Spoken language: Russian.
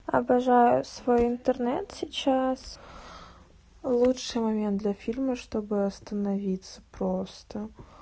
обожаю свой интернет сейчас лучшие моменты фильма чтобы остановиться просто